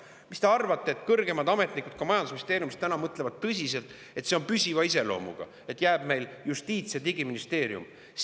Mis te arvate, et kõrgemad ametnikud ka majandusministeeriumis mõtlevad praegu tõsiselt, et see on püsiva iseloomuga, nii et meile jääb Justiits- ja Digiministeerium?